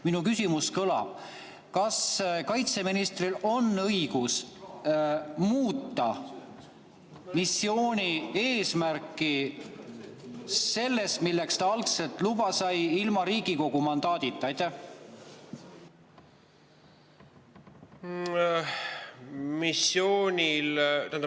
Minu küsimus kõlab: kas kaitseministril on õigus muuta missiooni eesmärki võrreldes sellega, milleks ta algselt loa sai, ka ilma Riigikogu mandaadita?